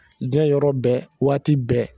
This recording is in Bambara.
Diɲɛ yɔrɔ bɛɛ, waati bɛɛ.